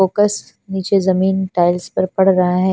Focus निचे जमीन tiles पर पड़ रहा है।